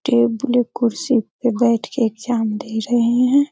Table कुर्सी पे बैठ के एग्जाम दे रहे हैं।